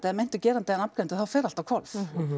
eða meintur gerandi er nafngreindur þá fer allt á hvolf